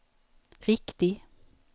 riktig